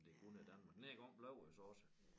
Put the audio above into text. Om det kun er Danmark denne gang blev det så også